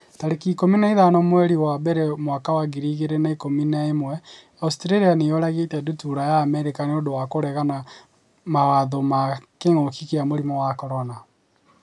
tarĩki ikũmi na ithano mweri wa mbere mwaka wa ngiri igĩrĩ na ikũmi na ĩmweAustralia nĩ yũragĩte ndutura ya Amerika 'nĩ ũndũ wa kũregana mawatho ma kĩngũki kia mũrimũ wa CORONA